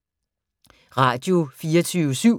Radio24syv